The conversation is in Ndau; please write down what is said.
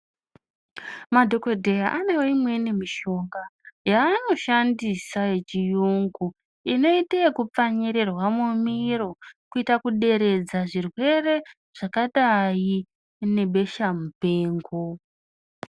Madhokodheya anewo imweni mishonga yaanoshandisa yechiyungu inoite yekupfantirirwa mumiro kuita kuderedzea zvirwere zvakadai nebesha mupengo.